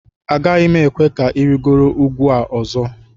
Agaghị m ekwe ka ị rịgoro ugwu a ọzọ